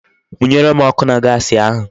Munyere m oku na Gasi ahu